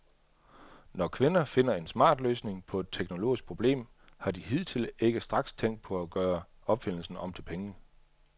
Når kvinder finder en smart løsning på et teknologisk problem, har de hidtil ikke straks tænkt på at gøre opfindelsen om til penge.